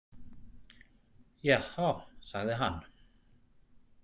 Jahá, sagði hann.